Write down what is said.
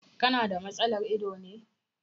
Ka na da matsalar ido ne.